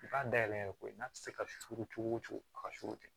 I b'a dayɛlɛ ko ye n'a tɛ se ka suuru cogo o cogo a ka sukaro tɛ